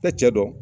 Tɛ cɛ dɔn